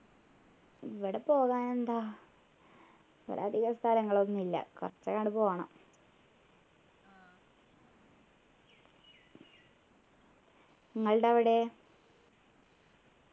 ഇവിടെ പോകാനെന്താ ഇവിടെ അധികം സ്ഥലങ്ങളൊന്നും ഇല്ല കുറച്ചങ്ങോട് പോണം നിങ്ങള്ടെ അവിടെയോ